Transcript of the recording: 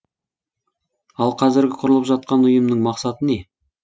ал қазіргі құрылып жатқан ұйымның мақсаты не